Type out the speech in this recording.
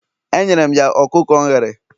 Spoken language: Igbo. Enyere m ya ọkụkọ m ghere